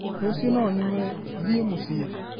Rũcio no nyume, thiĩ mũciĩ